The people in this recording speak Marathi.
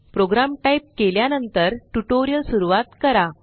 प्रोग्राम टाइप केल्या नंतर ट्यूटोरियल सुरूवात करा